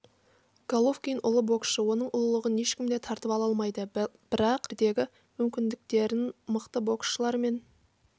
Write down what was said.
головкин ұлы боксшы оның ұлылығын ешкім де тартып ала алмайды бірақ лара жекпе-жектердегі мүмкіндіктерін мықты боксшылармен